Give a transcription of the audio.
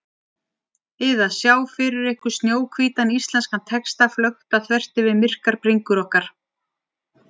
ið að sjá fyrir ykkur snjóhvítan íslenskan texta flökta þvert yfir myrkar bringur okkar.